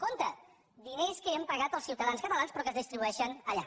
compte diners que ja hem pagat els ciutadans catalans però que es distribueixen allà